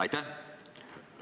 Aitäh!